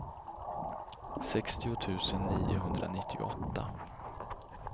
sextio tusen niohundranittioåtta